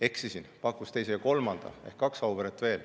Eksisin, ta pakkus välja teise ja kolmanda ehk kaks Auveret veel.